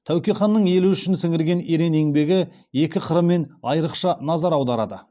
тәуке ханның елі үшін сіңірген ерен еңбегі екі қырымен айрықша назар аударады